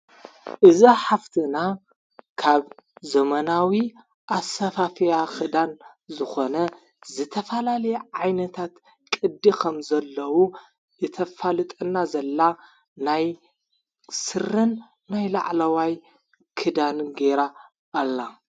እዛ ሓፍትና ካብ ዘመናዊ ኣሳፋፍያ ኽዳን ዝኾነ ዘተፋላል ዓይነታት ቅዲ ኸም ዘለዉ እተፋልጠና ዘላ ናይ ሥርን መይ ላዕለዋይ ክዳኒ ገይራ ኣላ።